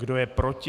Kdo je proti?